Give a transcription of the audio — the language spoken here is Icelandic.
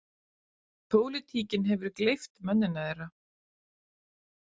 Pólitíkin hefur gleypt mennina þeirra.